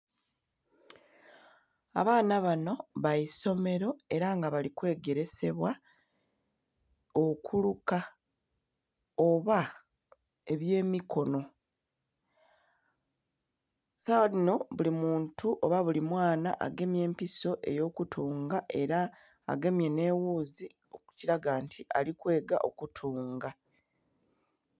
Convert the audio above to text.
Abaana bano baisomero era nga bali kwegeresebwa okuluka oba ebyemikono. Sawa dhino buli muntu oba buli mwana agemye empiso eyo kutunga era agemye n'ewuuzi ekiraga nti alikwega okutunga.